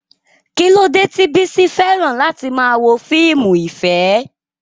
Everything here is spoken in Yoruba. Kí ló dé tí Bisi fẹ́ràn láti máa wo fíìmù ìfẹ́?